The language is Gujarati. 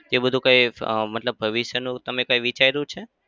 તે બધું કઈ અમ મતલબ ભવિષ્યનું તમે કઈ વિચાર્યું છે?